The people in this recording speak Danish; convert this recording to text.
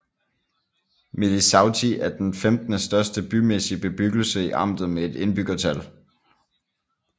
Milișăuți er den femtende største bymæssig bebyggelse i amtet med et indbyggertal